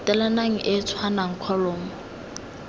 latelanang e e tshwanang kholomo